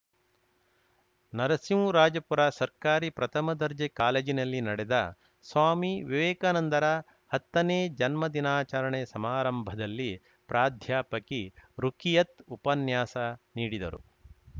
ನರಸಿಂಹರಾಜಪುರ ಸರ್ಕಾರಿ ಪ್ರಥಮ ದರ್ಜೆ ಕಾಲೇಜಿನಲ್ಲಿ ನಡೆದ ಸ್ವಾಮಿ ವಿವೇಕಾನಂದರ ಹತ್ತನೇ ಜನ್ಮ ದಿನಾಚರಣೆ ಸಮಾರಂಭದಲ್ಲಿ ಪ್ರಾಧ್ಯಾಪಕಿ ರುಖಿಯತ್‌ ಉಪನ್ಯಾಸ ನೀಡಿದರು